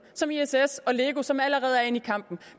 som iss og lego som allerede er inde i kampen